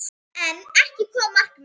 En ekki kom markið.